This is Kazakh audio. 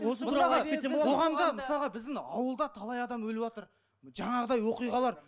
мысалға біздің ауылда талай адам өліватыр жаңағыдай оқиғалар